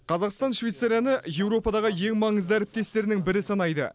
қазақстан швейцарияны еуропадағы ең маңызды әріптестерінің бірі санайды